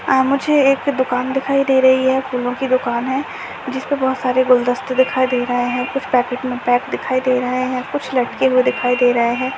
आ मुझे एक दूकान दिखाई दे रही है फूलो की दूकान है जिसपे बहुत सारे गुलदस्ते दिखाई दे रहे है कुछ पैकेट में पैक दिखाई दे रहे है कुछ लटके हुए दिखाई दे रहे है।